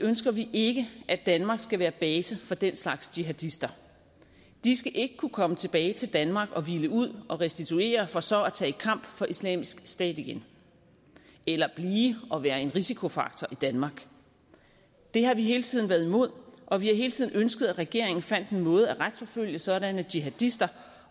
ønsker vi ikke at danmark skal være base for den slags jihadister de skal ikke kunne komme tilbage til danmark og hvile ud og restituere for så at tage i kamp for islamisk stat igen eller blive og være en risikofaktor i danmark det har vi hele tiden været imod og vi har hele tiden ønsket at regeringen fandt en måde at retsforfølge sådanne jihadister